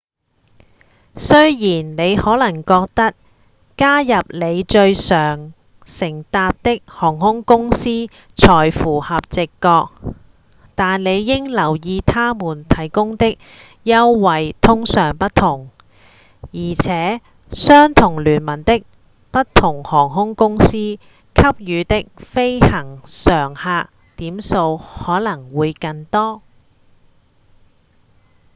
雖然你可能覺得加入你最常搭乘的航空公司才符合直覺但你應留意他們提供的優惠通常不同而且相同聯盟的不同航空公司給予的飛行常客點數可能會更多